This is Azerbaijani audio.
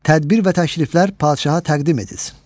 Tədbir və təkliflər padşaha təqdim edilsin.